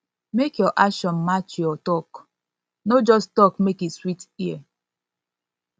mek yur action yur action match yur tok no just tok mek e sweet ear